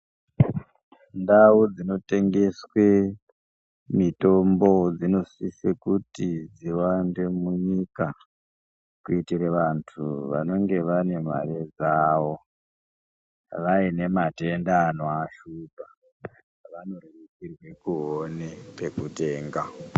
Ndau dzinotengeswe mitombo dzinosise kuti dziwande munyika. Kuitira vantu vanenge vane mare dzavo, vaine matenda anovashupa vanorerukirwe kuone pekutenga.